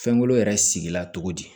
Fɛnkolo yɛrɛ sigi la cogo di